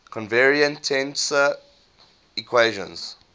covariant tensor equations